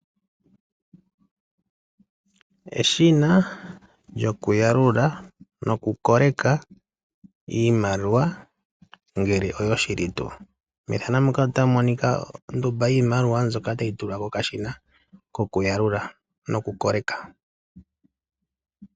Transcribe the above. Eshina lyokuyalula nokukoleka iimaliwa ngele oyoshili tuu. Methano muka otamu monika ondumba yiimaliwa mbyoka tayi tulwa kokashina kokuyalula nokukoleka.